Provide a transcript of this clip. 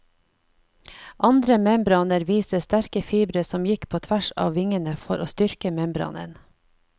Andre membraner viser sterke fibre som gikk på tvers av vingene for å styrke membranen.